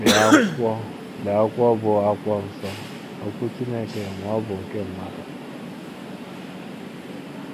Lee akwụkwọ Lee akwụkwọ bụ́ akwụkwọ nsọ — Okwu Chineke ma ọ bụ nkr mmadu?